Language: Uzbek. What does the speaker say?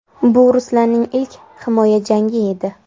Bu Ruslanning ilk himoya jangi edi.